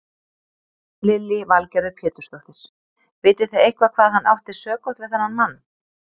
Lillý Valgerður Pétursdóttir: Vitið þið eitthvað hvað hann átti sökótt við þennan mann?